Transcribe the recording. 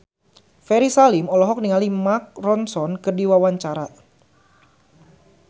Ferry Salim olohok ningali Mark Ronson keur diwawancara